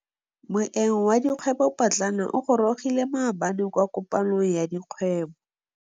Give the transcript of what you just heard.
Moêng wa dikgwêbô pôtlana o gorogile maabane kwa kopanong ya dikgwêbô.